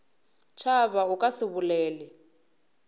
tšhaba o ka se bolele